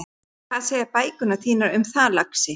Hvað segja bækurnar þínar um það, lagsi?